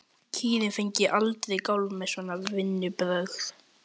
Kýrin fengi aldrei kálf með svona vinnubrögðum.